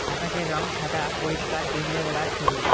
আকাশের রং সাদা পরিষ্কার দিনের বেলার ছবি।